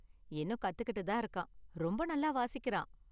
இன்னும் கத்துக்கிட்டு தான் இருக்கான் ரொம்ப நல்லா வாசிக்கிறான்.